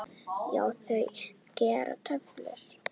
Já, þau gera kröfur.